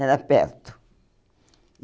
Era perto.